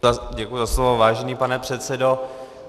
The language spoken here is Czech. Děkuji za slovo, vážený pane předsedo.